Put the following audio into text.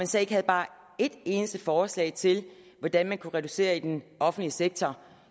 så ikke havde bare et eneste forslag til hvordan man kunne reducere i den offentlige sektor